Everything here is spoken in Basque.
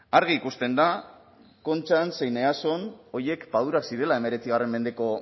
argi ikusten da kontxan zein eason horiek padurak zirela hemeretzi mendeko